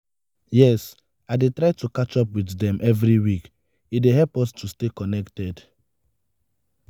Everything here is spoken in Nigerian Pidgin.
yes i dey try to catch up with dem every week e dey help us to stay connected.